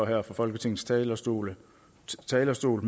her fra folketingets talerstol talerstol